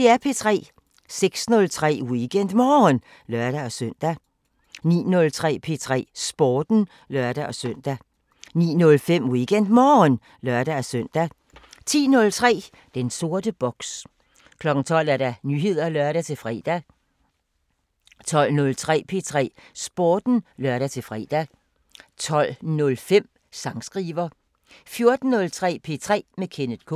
06:03: WeekendMorgen (lør-søn) 09:03: P3 Sporten (lør-søn) 09:05: WeekendMorgen (lør-søn) 10:03: Den sorte boks 12:00: Nyheder (lør-fre) 12:03: P3 Sporten (lør-fre) 12:05: Sangskriver 14:03: P3 med Kenneth K